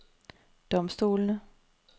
domstolene